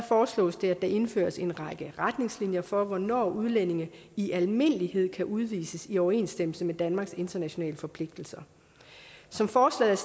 foreslås det at der indføres en række retningslinjer for hvornår udlændinge i almindelighed kan udvises i overensstemmelse med danmarks internationale forpligtelser som forslaget